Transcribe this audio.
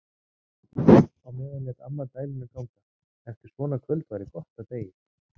Á meðan lét amma dæluna ganga: Eftir svona kvöld væri gott að deyja.